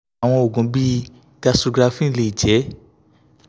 awọn oogun bii gastrografin le jẹ